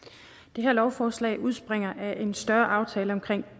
det her lovforslag udspringer af en større aftale om